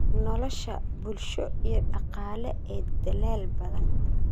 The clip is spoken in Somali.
nolosha bulsho iyo dhaqaale ee dalal badan.